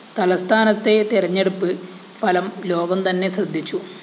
തലസ്ഥാനത്തെ തെരഞ്ഞെടുപ്പ് ഫലം ലോകം തന്നെ ശ്രദ്ധിച്ചു